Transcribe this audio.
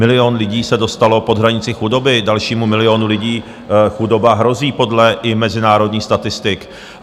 Milion lidí se dostalo pod hranici chudoby, dalšímu milionu lidi chudoba hrozí i podle mezinárodních statistik.